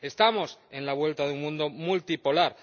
Estamos en la vuelta de un mundo multipolar.